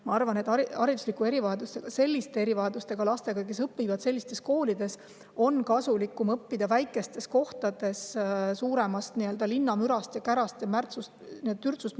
Ma arvan, et hariduslike erivajadustega lastel, selliste erivajadustega lastel, kes õpivad sellistes koolides, on kasulikum õppida väikestes kohtades, eemal suuremast linnamürast, kärast, märtsust, türtsust.